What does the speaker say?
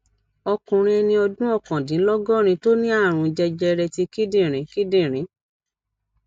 ọkùnrin eni ọdún okandinlogorin to ní àrùn jẹjẹrẹ ti kindinrin kindinrin